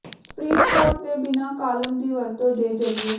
supreme court ਦੇ ਬਿਨਾ column ਦੀ ਵਰਤੋ ਦੇ ਜ਼ਰੀਏ